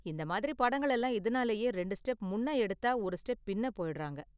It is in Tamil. இந்த மாதிரி படங்கள் எல்லாம் இதனாலேயே ரெண்டு ஸ்டெப் முன்ன எடுத்தா ஒரு ஸ்டெப் பின்னே போயிடுறாங்க.